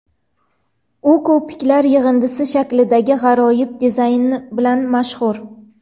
U ko‘piklar yig‘indisi shaklidagi g‘aroyib dizayni bilan mashhur.